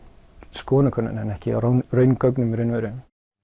skoðanakönnunum en ekki á raungögnum í raun og veru